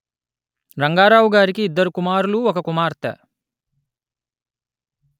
రంగారావు గారికి ఇద్దరు కుమారులు ఒక్క కుమార్తె